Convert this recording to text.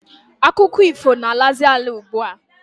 Akụkọ ifo na-alazi ala ugbua.